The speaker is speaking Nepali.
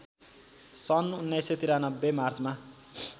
सन् १९९३ मार्चमा